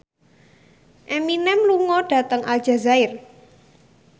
Eminem lunga dhateng Aljazair